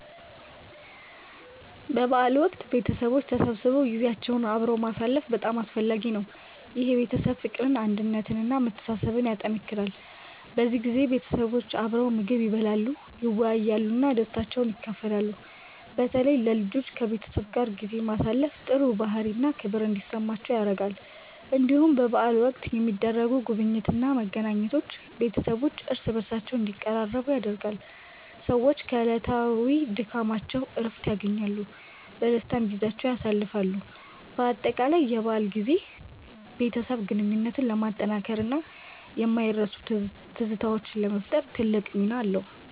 በበዓል ወቅት ቤተሰቦች ተሰብስበው ጊዜያቸውን አብረው ማሳለፍ በጣም አስፈላጊ ነው። ይህ የቤተሰብ ፍቅርን፣ አንድነትን እና መተሳሰብን ያጠናክራል። በዚህ ጊዜ ቤተሰቦች አብረው ምግብ ይበላሉ፣ ይወያያሉ እና ደስታቸውን ይካፈላሉ። በተለይ ለልጆች ከቤተሰብ ጋር ጊዜ ማሳለፍ ጥሩ ባህሪ እና ክብር እንዲማሩ ይረዳቸዋል። እንዲሁም በበዓል ወቅት የሚደረጉ ጉብኝቶች እና መገናኘቶች ቤተሰቦች እርስ በርስ እንዲቀራረቡ ያደርጋሉ። ሰዎች ከዕለታዊ ድካማቸው እረፍት ያገኛሉ፣ በደስታም ጊዜያቸውን ያሳልፋሉ። በአጠቃላይ የበዓል ጊዜ የቤተሰብ ግንኙነትን ለማጠናከር እና የማይረሱ ትዝታዎችን ለመፍጠር ትልቅ ሚና አለው።